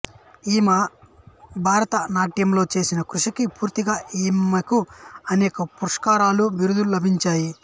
ఈమ భరతనాట్యంలో చేసిన కృషికి గుర్తింపుగా ఈమెకు అనేక పురస్కారాలు బిరుదులు లభించాయి